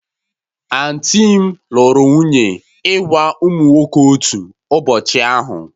Aunty m lụrụ nwunye ịgwa ụmụ nwoke otu ụbọchị ahụ